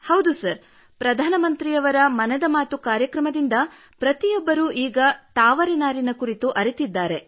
ಹೌದು ಸರ್ ಪ್ರಧಾನ ಮಂತ್ರಿಯವರ ಮನದ ಮಾತು ಕಾರ್ಯಕ್ರಮದಿಂದ ಪ್ರತಿಯೊಬ್ಬರೂ ತಾವರೆ ನಾರಿನ ಕುರಿತು ಅರಿತಿದ್ದಾರೆ